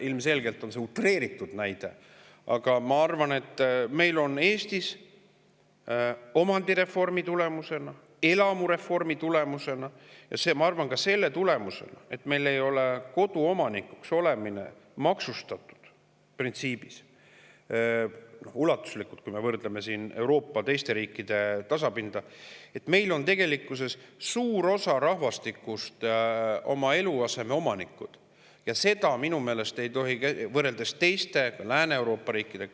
Ilmselgelt on see utreeritud näide, aga ma arvan, et omandireformi, elamureformi ja ka selle tulemusena, et meil ei ole koduomanikuks olemine printsiibis ulatuslikult maksustatud võrreldes teiste Euroopa riikidega, on suur osa Eesti rahvastikust oma eluaseme omanikud Lääne-Euroopa riikide.